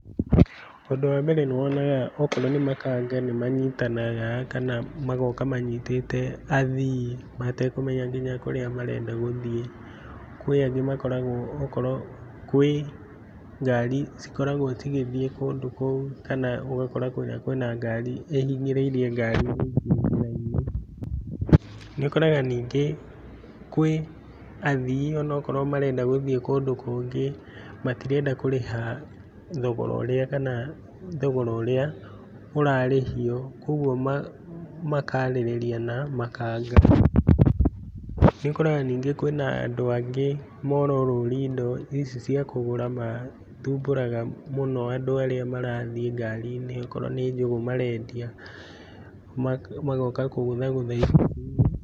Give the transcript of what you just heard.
Ũndũ wambere nĩwonaga okorwo nĩmakanga nĩmanyitanaga kana magoka manyitĩte athiĩ matekũmenya nginya kũrĩa marenda gũthiĩ. Kwĩ angĩ makoragwo okorwo nĩ ngari cikoragwo cigĩthiĩ kũndũ kũu kana ũgakora kũu kwĩna ngari ĩhinyĩrĩirie ngari ingĩ. Nĩũkoraga nyingĩ kwĩathii okorwo marenda gũthiĩ marenda gũthiĩ kũndũ kũngĩ matirenda kũrĩha thogora ũrĩa kana thogogora ũrĩ ũrarĩhio kuogwo makarĩrĩria na makanga. Nĩũkoraga nyingĩ marorũria indo , indo ici ciakũgũra na mathumbũraga mũno andũ arĩa marathiĩ ngari-inĩ okorwo nĩ njũgũ marendia, magoka kũgũthagũtha icicio.